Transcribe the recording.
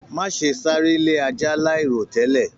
Má ṣe sáré lé ajá láì ro tẹlẹ!